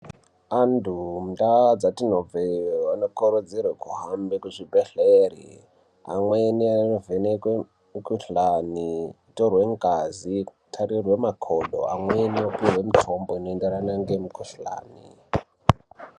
Antu mundau kwatinobva iyo anokurudzirwa kuhambe kuzvibhedhlera amweni anovhenekwe mikuhlani kutorwe ngazi nekutobwe makodo amweni anopuwa mitombo inoenderana nemikuhlani.